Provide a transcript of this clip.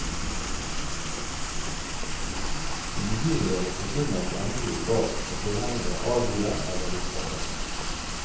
Siden guruene forkynner de endelige svar, må tilhengere adlyde eller bli straffet.